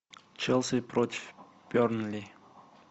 челси против бернли